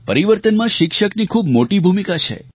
પરિવર્તનમાં શિક્ષકની ખૂબ મોટી ભૂમિકા છે